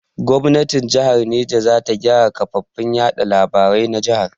Gomnatin jahar Neja za ta gyara kafafen yaɗa labarai na jahar.